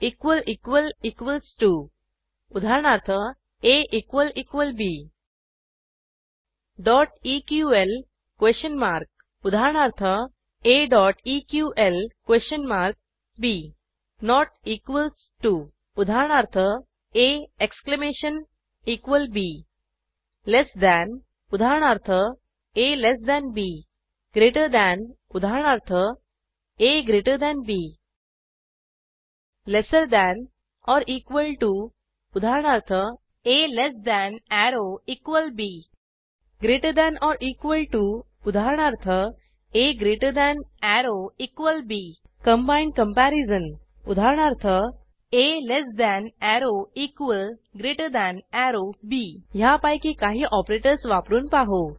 equals to उदाहरणार्थ ab dot E Q L question mark उदाहरणार्थ aeqlबी नोट इक्वॉल्स टीओ उदाहरणार्थ आ exclamation equal B less than उदाहरणार्थ आ बी ग्रेटर थान उदाहरणार्थ आ G T B lesser than or equal to उदाहरणार्थ आ less than arrow equal B greater than or equal to उदाहरणार्थa greater than arrow equal B combined comparison उदाहरणार्थ आ less than arrow equal greater than arrow B ह्यापैकी काही operators वापरून पाहू